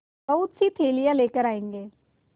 बहुतसी थैलियाँ लेकर आएँगे